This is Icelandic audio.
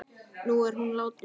Nú er hún látin.